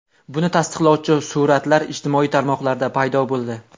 Buni tasdiqlovchi suratlar ijtimoiy tarmoqlarda paydo bo‘ldi.